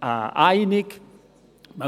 einig sind.